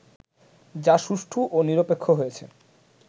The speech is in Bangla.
যা সুষ্ঠু ও নিরপেক্ষ হয়েছে